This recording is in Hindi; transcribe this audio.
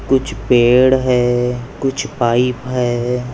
कुछ पेड़ है कुछ पाइप है।